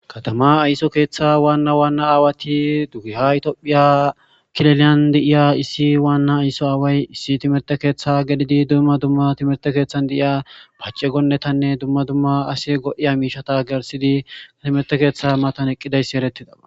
katama ayso keeththa waanna waanna aawati duggiha itiophiya kileliyan deiya issi waanna ayso aaway issi timerte keeththa gedidi dumma dumma timerte keeththan de7iya pace gonnetanne dumma dumma ase go7iya miishata gersidia timerte keeththa matan eqqidayssi erettida